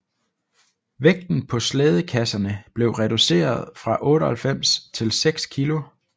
Vægten på slædekasserne blev reducerede fra 98 til 6 kg